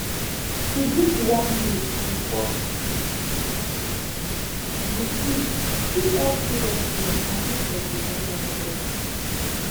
to drink warm milk before you sleep fit help you rest well and make your belle work better